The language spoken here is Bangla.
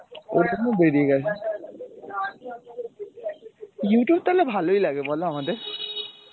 ওইটা তখন বেরিয়ে গেছে Youtube তাহলে ভালোই লাগে বলো আমাদের?